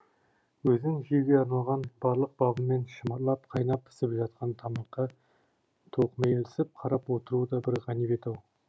өзің жеуге арналған барлық бабымен шымырлап қайнап пісіп жатқан тамаққа тоқмейілсіп қарап отыру да бір ғанибет ау